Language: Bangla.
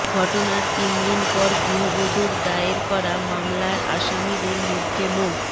ঘটনার তিনদিন পর গৃহবধূর দায়ের করা মামলার আসামিদের মধ্যে মো